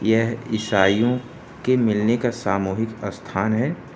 यह ईसाइयों के मिलने का सामूहिक स्थान है।